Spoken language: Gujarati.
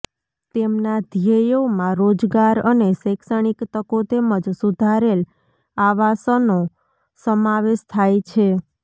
તેમના ધ્યેયોમાં રોજગાર અને શૈક્ષણિક તકો તેમજ સુધારેલ આવાસનો સમાવેશ થાય છે